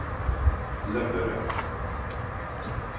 Löberöd